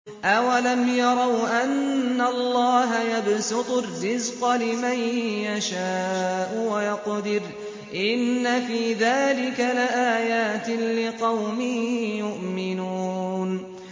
أَوَلَمْ يَرَوْا أَنَّ اللَّهَ يَبْسُطُ الرِّزْقَ لِمَن يَشَاءُ وَيَقْدِرُ ۚ إِنَّ فِي ذَٰلِكَ لَآيَاتٍ لِّقَوْمٍ يُؤْمِنُونَ